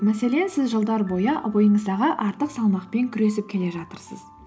мәселен сіз жылдар бойы бойыңыздағы артық салмақпен күресіп келе жатырсыз